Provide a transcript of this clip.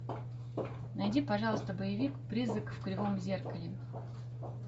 найди пожалуйста боевик призрак в кривом зеркале